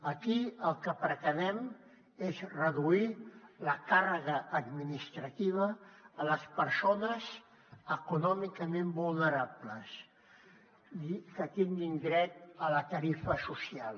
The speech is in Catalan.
aquí el que pretenem és reduir la càrrega administrativa a les persones econòmicament vulnerables i que tinguin dret a la tarifa social